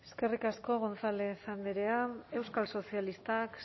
eskerrik asko gonzález andrea euskal sozialistak